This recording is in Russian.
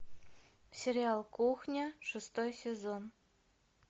сериал кухня шестой сезон